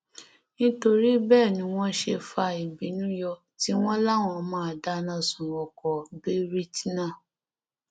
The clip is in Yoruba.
nítorí bẹẹ ni wọn ṣe fa ìbínú yọ tí wọn láwọn máa dáná sun ọkọ b rt náà